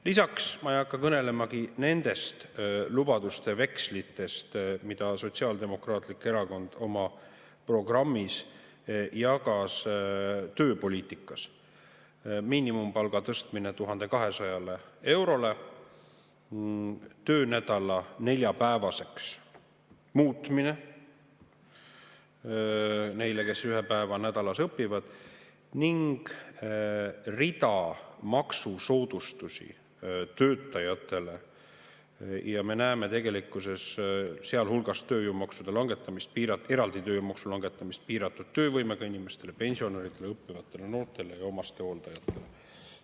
Lisaks, ma ei hakka kõnelemagi nendest lubadustest ja vekslitest, mida Sotsiaaldemokraatlik Erakond oma programmis jagas tööpoliitika koha: miinimumpalga tõstmine 1200 eurole, töönädala neljapäevaseks muutmine neil, kes ühe päeva nädalas õpivad, ning rida maksusoodustusi töötajatele, sealhulgas eraldi tööjõumaksude langetamine piiratud töövõimega inimestel, pensionäridel, õppivatel noortel ja omastehooldajatel.